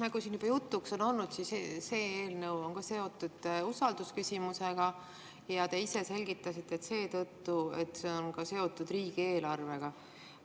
Nagu siin juba jutuks on olnud, see eelnõu on ka seotud usaldusküsimusega, ja te ise selgitasite, et seda seetõttu, et see on ka seotud riigieelarvega.